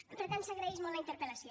per tant s’agraeix molt la interpel·lació